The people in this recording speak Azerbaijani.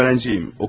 Oxuyuram.